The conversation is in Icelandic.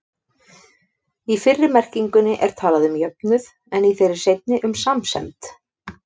Í fyrri merkingunni er talað um jöfnuð, en í þeirri seinni um samsemd.